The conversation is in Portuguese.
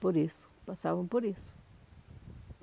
Por isso, passavam por isso.